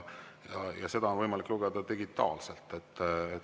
Seda on võimalik lugeda digitaalselt.